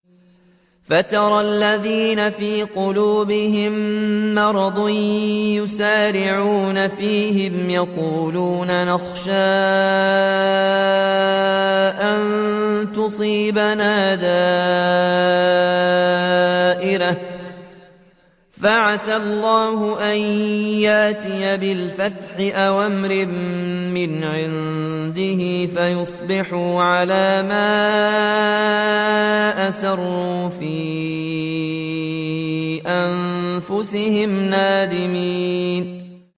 فَتَرَى الَّذِينَ فِي قُلُوبِهِم مَّرَضٌ يُسَارِعُونَ فِيهِمْ يَقُولُونَ نَخْشَىٰ أَن تُصِيبَنَا دَائِرَةٌ ۚ فَعَسَى اللَّهُ أَن يَأْتِيَ بِالْفَتْحِ أَوْ أَمْرٍ مِّنْ عِندِهِ فَيُصْبِحُوا عَلَىٰ مَا أَسَرُّوا فِي أَنفُسِهِمْ نَادِمِينَ